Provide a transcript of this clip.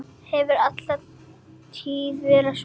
Hefur alla tíð verið svona.